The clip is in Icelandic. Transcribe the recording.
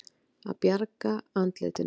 Að bjarga andlitinu